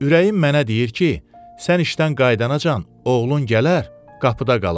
Ürəyim mənə deyir ki, sən işdən qayıdanacan oğlun gələr qapıda qalar.